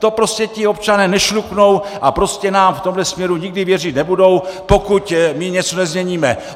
To prostě ti občané nešluknou a prostě nám v tomhle směru nikdy věřit nebudou, pokud my něco nezměníme!